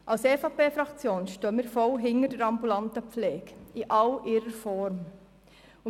Als EVP-Fraktion stehen wir voll hinter der ambulanten Pflege in all ihren Formen.